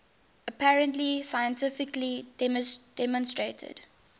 apparently scientifically demonstrated